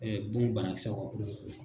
bon banakisɛ ka kosɔn.